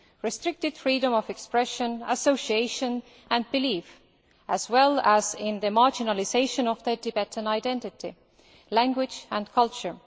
restricted freedom of expression, association and belief, as well as in the marginalisation of Tibetan identity, language and culture.